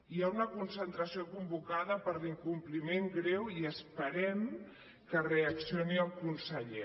hi ha una concentració convocada per l’incompliment greu i esperem que reaccioni el conseller